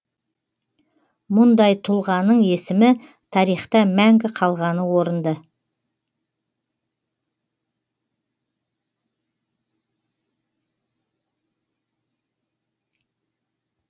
мұндай тұлғаның есімі тарихта мәңгі қалғаны орынды